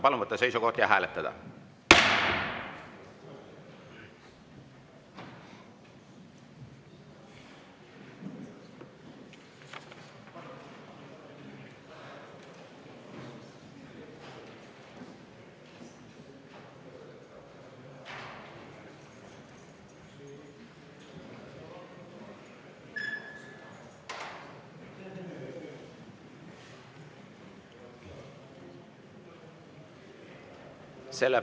Palun võtta seisukoht ja hääletada!